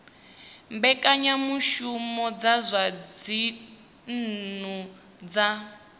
mbekanyamushumo dza zwa dzinnu dza